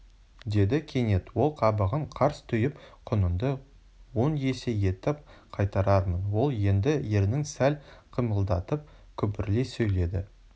деді кенет ол қабағын қарс түйіп құныңды он есе етіп қайтарармын ол енді ернін сәл қимылдатып күбірлей сөйледі